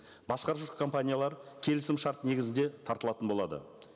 басқарушы компаниялар келісімшарт негізінде тартылатын болады